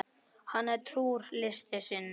Hann er trúr list sinni.